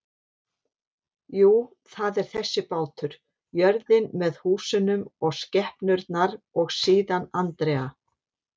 Jú, það er þessi bátur, jörðin með húsunum og skepnurnar og síðan Andrea.